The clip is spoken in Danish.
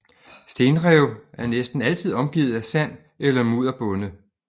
Stenrev er næsten altid omgivet af sand eller mudderbunde